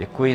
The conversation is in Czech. Děkuji.